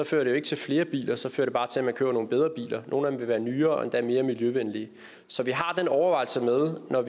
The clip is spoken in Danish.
fører det jo ikke til flere biler så fører det bare til at man køber nogle bedre biler og nogle af dem vil være nyere og endda mere miljøvenlige så vi har den overvejelse med når